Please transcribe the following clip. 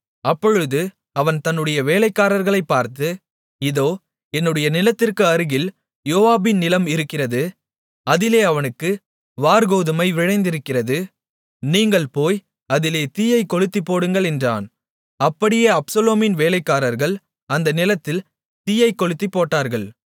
அப்பொழுது அவன் தன்னுடைய வேலைக்காரர்களைப் பார்த்து இதோ என்னுடைய நிலத்திற்கு அருகில் யோவாபின் நிலம் இருக்கிறது அதிலே அவனுக்கு வாற்கோதுமை விளைந்திருக்கிறது நீங்கள் போய் அதிலே தீயைக்கொளுத்திப் போடுங்கள் என்றான் அப்படியே அப்சலோமின் வேலைக்காரர்கள் அந்த நிலத்தில் தீயைக் கொளுத்திப்போட்டார்கள்